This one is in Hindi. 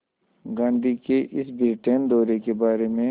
गांधी के इस ब्रिटेन दौरे के बारे में